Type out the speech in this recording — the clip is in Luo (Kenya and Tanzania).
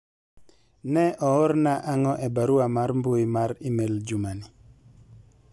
ne oorna ang'o e barua mar mbui mar email juma ni